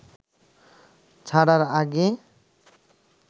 ছাড়ার আগে